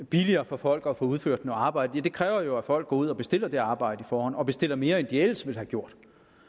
billigere for folk at få udført noget arbejde ja det kræver jo at folk går ud og bestiller det arbejde og og bestiller mere end de ellers ville have gjort